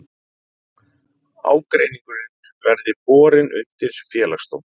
Ágreiningurinn verði borin undir félagsdóm